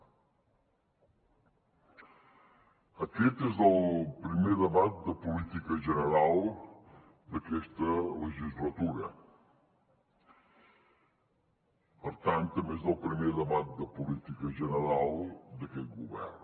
aquest és el primer debat de política general d’aquesta legislatura per tant també és el primer debat de política general d’aquest govern